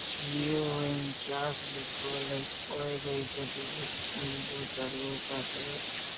जिओ उनचास लिखल हई कई गो एगो दुगो तीनगो चारगो पंचगो छो --